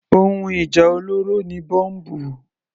Ohun ìjà olóró ni Bọ́mbù.